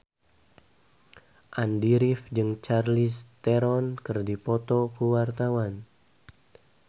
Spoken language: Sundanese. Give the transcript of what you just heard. Andy rif jeung Charlize Theron keur dipoto ku wartawan